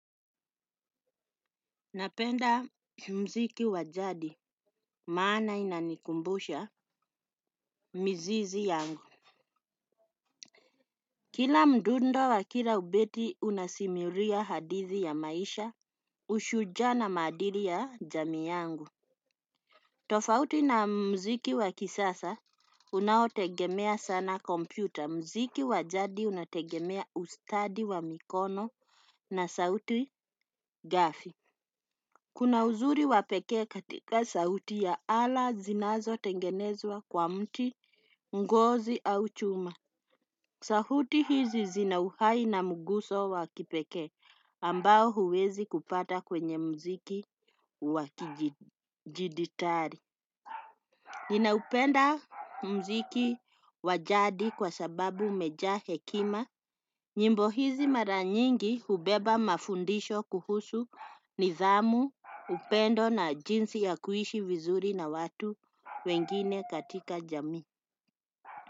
Napenda muziki wa jadi maana inanikumbusha mizizi yangu. Kila mdundo wa kila ubeti unasimulia hadithi ya maisha, ushujaa na maadili ya jamii yangu. Tofauti na muziki wa kisasa unaotegemea sana kompyuta, muziki wa jadi unategemea ustadi wa mikono na sauti ghafi. Kuna uzuri wa pekee katika sauti ya ala zinazotengenezwa kwa mti, ngozi au chuma. Sauti hizi zina uhai na mguso wa kipekee ambao huwezi kupata kwenye muziki wa kidijitali. Ninaupenda muziki wa jadi kwa sababu umejaa hekima. Nyimbo hizi mara nyingi hubeba mafundisho kuhusu nidhamu, upendo na jinsi ya kuishi vizuri na watu wengine katika jamii.